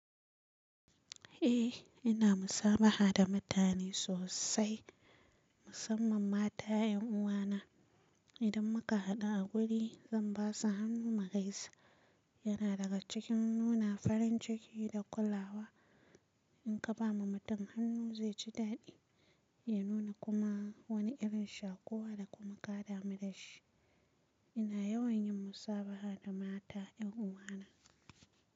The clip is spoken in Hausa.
Eh ina musabaha da mutane sosai musamman mata 'yan uwana. Idan muka haɗu a wuri zan basu hannu mu gaisa. Yana daga cikin nuna farin ciki da kulawa. In ka bawa mutum hannu zai ji dadi, ya nuna kuma wani irin shakuwa da kuma kadamu da shi. Ina yawan yin musabaha da mata 'yan uwana.